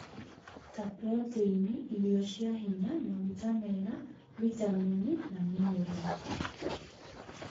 ta proteini, irio cia hinya, maguta mega, vitamini, na minerals.